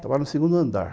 Trabalhava no segundo andar.